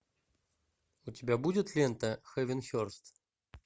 у тебя будет лента хэвенхерст